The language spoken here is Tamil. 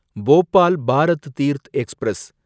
போபால் பாரத் தீர்த் எக்ஸ்பிரஸ்